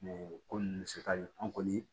ko ninnu bɛ se ka an kɔni